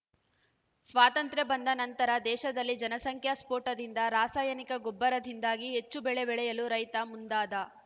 ಸ್ವಾತಂತ್ರ್ಯ ಬಂದ ನಂತರ ದೇಶದಲ್ಲಿ ಜನಸಂಖ್ಯಾ ಸ್ಪೋಟದಿಂದ ರಾಸಾಯನಿಕ ಗೊಬ್ಬರದಿಂದಾಗಿ ಹೆಚ್ಚು ಬೆಳೆ ಬೆಳೆಯಲು ರೈತ ಮುಂದಾದ